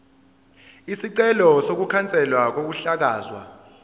isicelo sokukhanselwa kokuhlakazwa